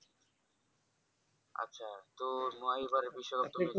তো তোমার এইবারের বিষয়